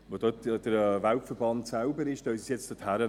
Weil dort ja der Weltverband selber ist, nehmen Sie es nun dorthin.